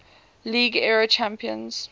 league era champions